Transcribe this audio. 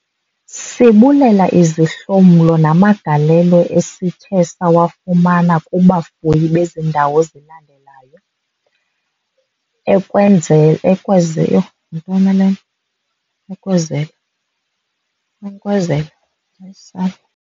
Sibulela izihlomlo namagalelo esithe sawafumana kubafuyi bezi ndawo zilandelayo. Yho yintoni na le? Ukwezele? Yintoni ukwezele? Hayi sana.